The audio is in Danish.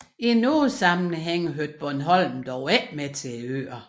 I nogle sammenhænge hørte Bornholm dog ikke med til Øerne